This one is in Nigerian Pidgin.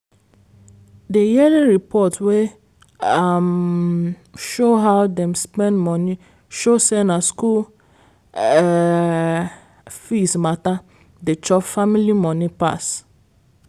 the yearly report wey um show how them spend money show say na school um fees matter dey chop family money pass